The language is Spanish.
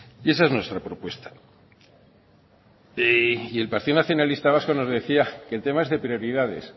y el partido nacionalista vasco nos decía que el tema es de prioridades